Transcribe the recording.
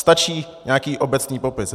Stačí nějaký obecný popis.